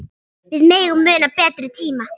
Við megum muna betri tíma.